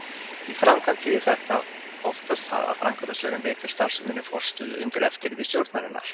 Í framkvæmd þýðir þetta oftast það að framkvæmdastjórinn veitir starfseminni forstöðu undir eftirliti stjórnarinnar.